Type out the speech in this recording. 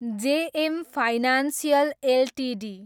JM financial Ltd